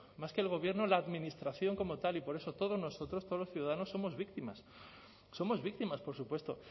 más que el gobierno la administración como tal y por eso todos nosotros todos los ciudadanos somos víctimas somos víctimas por supuesto